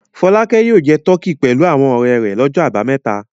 Fọlákẹ́ yóò jẹ tọkí pẹ̀lú àwọn ọ̀rẹ́ rẹ̀ lọ́jọ́ àbámẹ́ta.